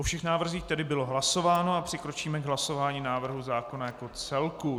O všech návrzích tedy bylo hlasováno a přikročíme k hlasování návrhu zákona jako celku.